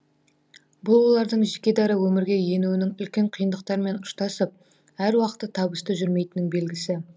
бұл олардың жеке дара өмірге енуінің үлкен қиындықтармен ұштасып әр уақытта табысты жүрмейтінінің белгісі